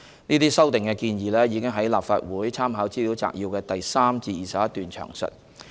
這些修訂建議已於立法會參考資料摘要的第3段至第21段詳述。